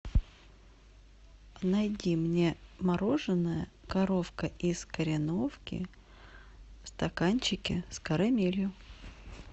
найди мне мороженое коровка из кореновки в стаканчике с карамелью